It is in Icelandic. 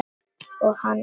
Og á hann.